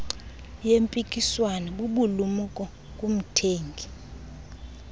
yempikiswano bubulumko kumthengi